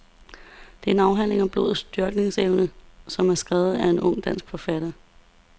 Det er en afhandling om blodets størkningsevne, som er skrevet af en ung dansk forsker.